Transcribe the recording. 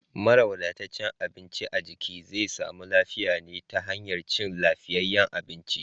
Mara wadataccen abinci a jiki zai samu lafiya ne ta hanyar cin lafiyayyen abinci.